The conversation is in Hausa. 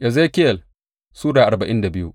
Ezekiyel Sura arba'in da biyu